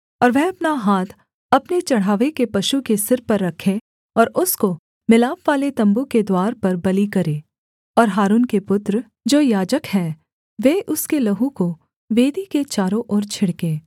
और वह अपना हाथ अपने चढ़ावे के पशु के सिर पर रखे और उसको मिलापवाले तम्बू के द्वार पर बलि करे और हारून के पुत्र जो याजक हैं वे उसके लहू को वेदी के चारों ओर छिड़कें